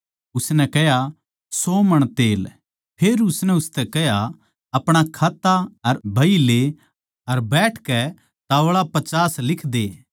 उसनै कह्या सौ मण तेल फेर उसनै उसतै कह्या अपणा खाता अर बही ले अर बैठकै ताव्ळा पचास लिख दे